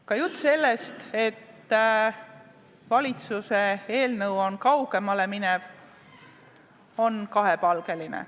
Ka jutt sellest, et valitsuse eelnõu läheb kaugemale, on kahepalgeline.